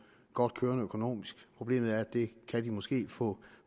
godt kørende økonomisk problemet er at det kan de måske få